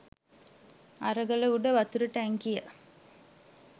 අර ගල උඩ වතුර ටැංකියට